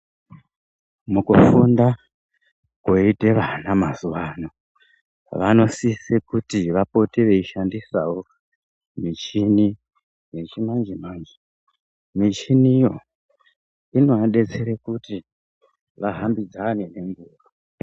Mukufunda kwoite vana mazuwaano ,vanosise kuti vapote veishandisawo michini yechimanje-manje. Michiniyo inodetsere kuti, vahambidzane nenguva .